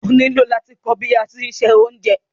Ọ ní ilò lati kọ̀ bí àti n ṣẹ ọ̀unjẹ